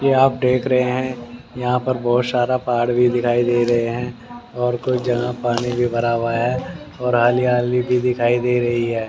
यह आप देख रहे हैं यहां पर बहुत सारा पहाड़ भी दिखाई दे रहे हैं और कुछ जगह पानी भी भरा हुआ है और हाली हाली भी दिखाई दे रही है।